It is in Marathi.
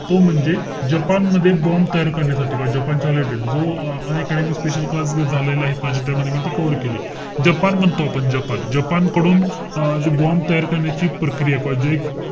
तो म्हणजे जपान मध्ये bomb तयार कारण्यासाठी, किंवा जपानच्या related जो अं special class झालेलायत माझी त्यामध्ये मी ती cover केली. जपान म्हणतो आपण, जपान कडून अं जे bomb तयार करण्याची प्रक्रिया किंवा जे,